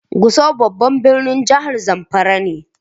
Gusau babban birnin jihar zamfara ne.